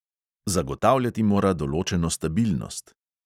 Zagotavljati mora določeno stabilnost.